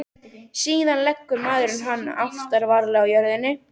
Síðan leggur maðurinn hann aftur varlega á jörðina.